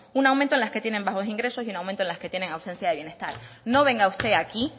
un aumento en las que tienen bajos ingresos y un aumento en las que tienen ausencia de bienestar no venga usted aquí